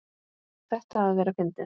Á þetta að vera fyndið?